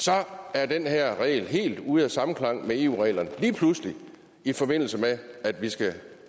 at den her regel er helt ude af samklang med eu reglerne lige pludselig i forbindelse med at vi skal